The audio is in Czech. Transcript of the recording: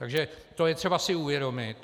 Takže to je třeba si uvědomit.